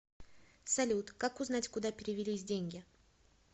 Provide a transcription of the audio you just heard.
салют как узнать куда перевелись деньги